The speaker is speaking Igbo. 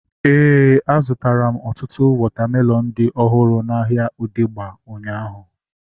Éè, a zụtara m ọtụtụ wọta melọnu dị ọhụrụ n'ahia Odegba ụnyaahụ